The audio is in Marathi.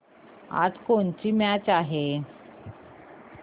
आज कोणाची मॅच आहे